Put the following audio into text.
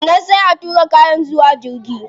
Sannan sai a tura kayan zuwa jirgi